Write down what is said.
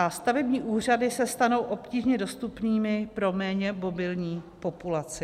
A stavební úřady se stanou obtížně dostupnými pro méně mobilní populaci.